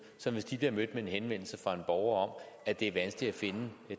som hvis de bliver mødt med en henvendelse fra en borger om at det er vanskeligt at finde